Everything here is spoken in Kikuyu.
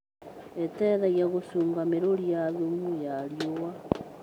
ĩteithagia gũcunga mĩruri ya thumu ya riũa.